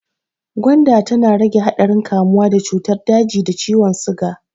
Gwanda tana rage haɗarin kamuwa da cutar daji da ciwon siga.